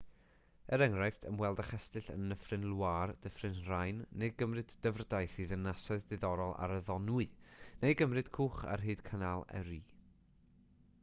er enghraifft ymweld â chestyll yn nyffryn loire dyffryn rhein neu gymryd dyfrdaith i ddinasoedd diddorol ar y ddonwy neu gymryd cwch ar hyd canal erie